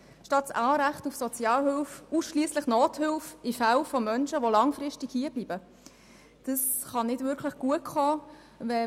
Statt Sozialhilfe soll Menschen, die langfristig hier bleiben, ausschliesslich Nothilfe gewährt werden.